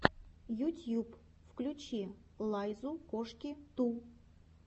ютьюб включи лайзу коши ту